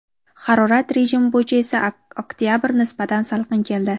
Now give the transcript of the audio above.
Harorat rejimi bo‘yicha esa oktyabr nisbatan salqin keldi.